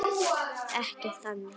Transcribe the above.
Ekkert þannig.